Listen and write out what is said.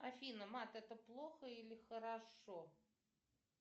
афина мат это плохо или хорошо